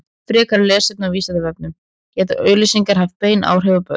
frekara lesefni á vísindavefnum geta auglýsingar haft bein áhrif á börn